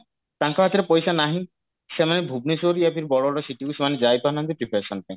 ତାଙ୍କ ହାତରେ ପଇସା ନାହିଁ ସେମାନେ ଭୁବନେଶ୍ବର या फिर ବଡ ବଡ city କୁ ସେମାନେ ଯାଇପାରୁନାହାନ୍ତି preparation ପାଇଁ